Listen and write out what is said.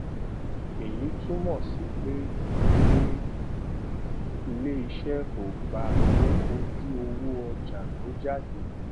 èyí túmò sí pé pé iléiṣé kò gba tó ojú owó ọjà tó jáde